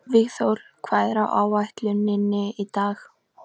Vígþór, hvað er á áætluninni minni í dag?